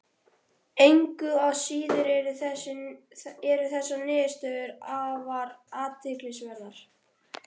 Engu að síður eru þessar niðurstöður afar athyglisverðar.